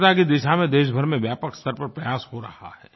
स्वच्छता की दिशा में देशभर में व्यापक स्तर पर प्रयास हो रहा है